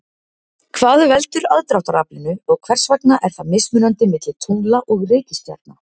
Hvað veldur aðdráttaraflinu og hvers vegna er það mismunandi milli tungla og reikistjarna?